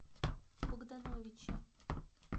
богдановиче